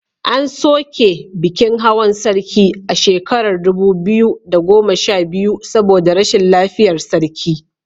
An soke bikin hawan sarki a shekarar dubu biyu da goma sha biyu saboda rashin lafiyar sarki.